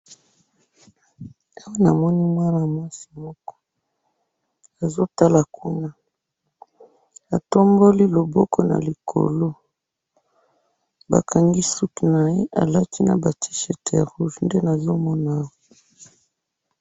Awa namoni mwana mwasi moko, azotala kuna, atomboli loboko nalikolo, bakangi suki naye, alati Naya tee-chirt ya rouge, nde nazomonaawa.